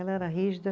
Ela era rígida.